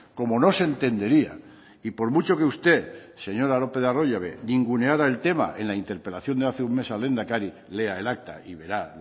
como no se entendería y por mucho que usted señora lópez de arroyabe ninguneara el tema en la interpelación de hace un mes al lehendakari lea el acta y verá